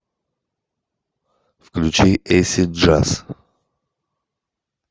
включи эйсид джаз